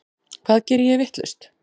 Hvað geri ég vitlaust?